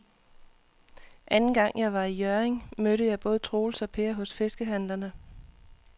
Anden gang jeg var i Hjørring, mødte jeg både Troels og Per hos fiskehandlerne.